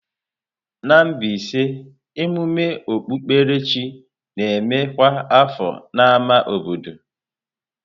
Na Mbaise, emume okpukpere chi na-eme kwa afọ n'ámá obodo.